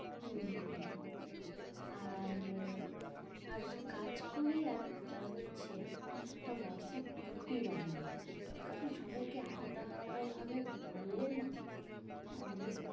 হম হম আর আহ আর কাজ করি একটা হচ্ছে একটা হোয়াটস্যাপ group ই বানিয়ে নি। কারণ সবাইকে আলাদা আলাদা ভাবে বললে না অনেক